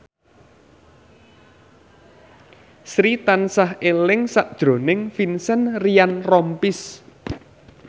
Sri tansah eling sakjroning Vincent Ryan Rompies